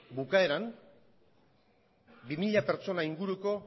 bukaeran bi mila pertsona inguruko